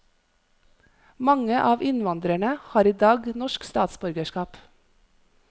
Mange av innvandrerne har i dag norsk statsborgerskap.